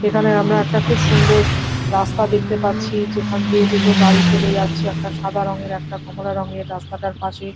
এখানে আমরা একটা খুব সুন্দর রাস্তা দেখতে পাচ্ছি যেখান দিয়ে দুটো গাড়ি চলে যাচ্ছে। একটা সাদা রঙের একটা কমলা রঙের। রাস্তাটার পাশে --